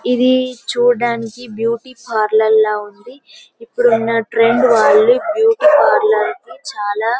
ఇది చుడానికి బ్యూటీపార్లోర్ లా ఉంది ఇపుడు ఉన్న ట్రెండ్ వాళ్ళు బీయూటీ పార్లోర్ కి చాల --